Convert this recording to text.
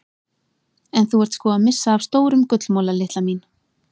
En þú ert sko að missa af stórum gullmola litla mín.